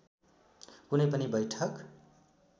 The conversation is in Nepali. कुनै पनि बैठक